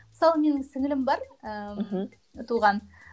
мысалы менің сіңлілім бар ііі мхм туған